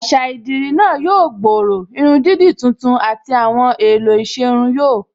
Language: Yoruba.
Àṣà idirí náà yóò gbòòrò, irun dídì tuntun àti àwọn èèlò ìṣerun yóò